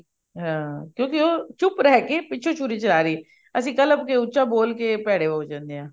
ਹਾਂ ਕਿਉਂਕਿ ਉਹ ਚੁੱਪ ਰਹੀ ਕੇ ਪਿੱਛੋ ਸ਼ੂਰੀ ਚਲਾ ਰਹੀਅਸੀਂ ਕਲਪ ਕੇ ਉੱਚਾ ਬੋਲ ਕੇ ਭੇਦੇ ਹੋ ਜਾਂਦੇ ਹਾਂ